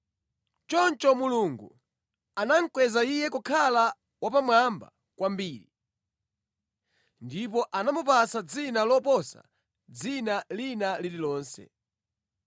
Choncho Mulungu anamukweza Iye kukhala wapamwamba kwambiri, ndipo anamupatsa dzina loposa dzina lina lililonse